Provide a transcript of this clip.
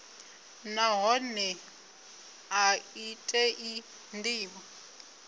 nahone a i tei ndivho